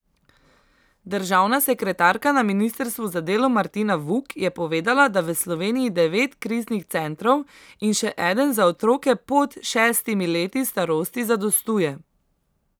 Državna sekretarka na ministrstvu za delo Martina Vuk je povedala, da v Sloveniji devet kriznih centrov in še eden za otroke pod šestimi leti starosti zadostuje.